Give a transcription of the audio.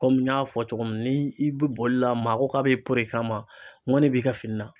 Komi n y'a fɔ cogo min na ni i bɛ bolila maa ko k'a bɛ poron i kan ma, ŋoni b'i ka fini na